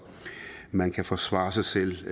man kan forsvare sig selv